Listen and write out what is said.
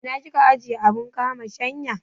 Ina kika ajiye abun kama shanya?